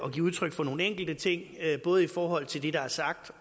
at give udtryk for nogle enkelte ting både i forhold til det der er sagt